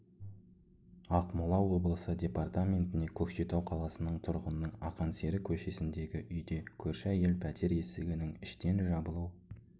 ақмола облысы департаментіне көкшетау қаласының тұрғынының ақан сері көшесіндегі үйде көрші әйел пәтер есігінің іштен жабылу